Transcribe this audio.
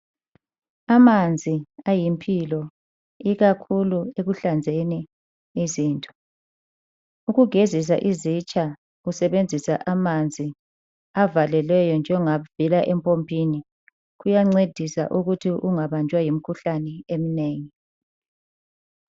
Amanzi ayimpilo ikakhulu ekuhlanzeni izinto ,ukugezisa izitsha usebenzisa amanzi avalelweyo njengavela empompini kuyancedisa ukuthi ungabanjwa yimikhuhlane emnengi.